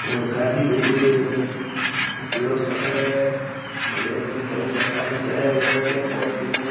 और गाड़ी खड़ी है एक पीलो शटर है बैंक में जाऊदो काली जालियां लगायेड़ी है मोटी मोटी --